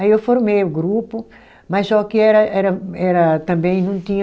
Aí, eu formei o grupo, mas só que era era era, também não tinha...